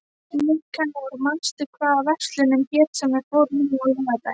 Nikanor, manstu hvað verslunin hét sem við fórum í á laugardaginn?